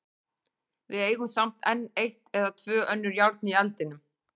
Við eigum samt enn eitt eða tvö önnur járn í eldinum.